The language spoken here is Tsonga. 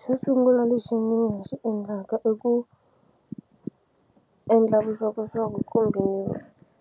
Xo sungula lexi ni nga xi endlaka i ku endla vuxokoxoko kumbe